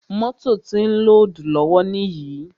Mótò ti ó ń lódùù lọ́wọ́ níyì.